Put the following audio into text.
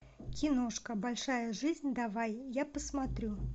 киношка большая жизнь давай я посмотрю